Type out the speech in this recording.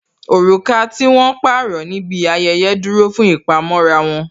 Oruka tí wón pààrọ̀ níbi ayẹyẹ dúró fún ìpamọ́ra wọn